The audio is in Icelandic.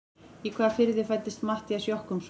Í hvaða firði fæddist Matthías Jochumsson?